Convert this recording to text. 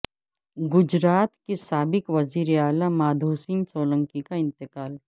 گجرات کے سابق وزیراعلی مادھو سنگھ سولنکی کا انتقال